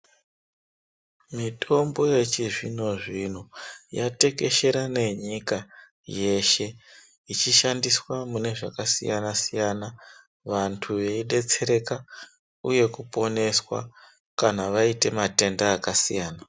Mitombo yechizvinozvino yatekeshera nenyika yeshe ichishandiswa munezvakasiyanasiyana vantu veidetsereka uye kuponeswa kana vaite matenda akasiyana.